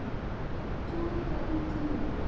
Toga í tímann.